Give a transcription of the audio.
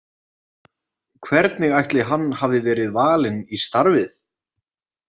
Hvernig ætli hann hafi verið valinn í starfið?